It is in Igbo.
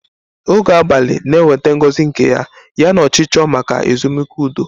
Oge abalị na-eweta ngozi nke ya, yana ọchịchọ maka ezumike udo.